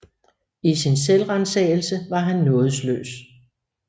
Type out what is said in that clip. I sin selvransagelse var han nådesløs